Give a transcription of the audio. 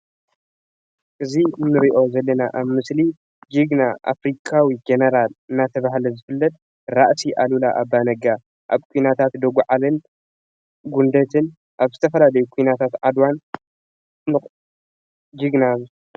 እዚ እንሪኦ ዘለና አብ ምስሊ ጅግና አፍሪካዊ ጀነራል እናተባሃለ ዝፍለጥ ራእሲ ኣሉላ አባ ነጋ አብ ኲናት ደጓዓሊን፣ ኲናት ጉንደትን፣ አብ ዝተፈላለዩ ኲናት ዓድዋ ዝፍለት ጅግና እዩ።